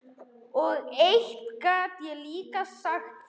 Og eitt get ég líka sagt þér